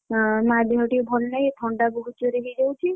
ଅଁ ମାଆ ଦେହ ଟିକେ ଭଲ ନାହିଁ ଏଇ ଥଣ୍ଡା ବହୁତ ଜୋରେ ହେଇ ଯାଉଛି।